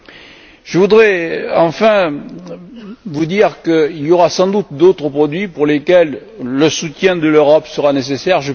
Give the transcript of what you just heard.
Enfin, je voudrais vous dire qu'il y aura sans doute d'autres produits pour lesquels le soutien de l'Europe sera nécessaire.